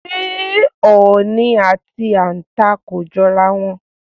S̩é ò̩ò̩nì àti àǹtà kò jo̩ra wo̩n?